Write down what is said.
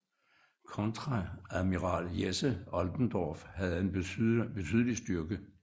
Kontreadmiral Jesse Oldendorf havde en betydelig styrke